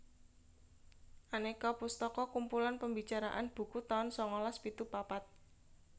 Aneka pustaka kumpulan pembicaraan buku taun sangalas pitu papat